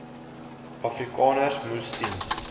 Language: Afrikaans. afrikaners moes sien